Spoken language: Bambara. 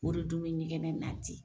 O re dun bɛ ɲɛgɛn naati.